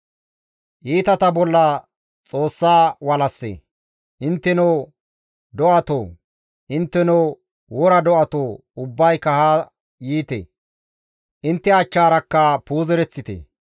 Intteno do7atoo, intteno wora do7atoo ubbayka haa yiite; intte achchaarakka puuzereththite.